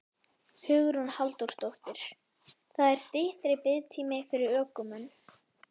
Hugrún Halldórsdóttir: Það er styttri biðtími fyrir ökumenn?